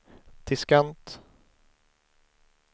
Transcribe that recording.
diskant